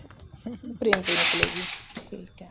frame ਤੇ ਨਿਕਲੇਗੀ ਠੀਕ ਹੈ